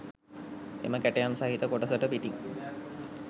එම කැටයම් සහිත කොටසට පිටින්